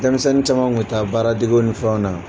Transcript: Denmisɛnni caman tun taa baaradege ni fɛnw na.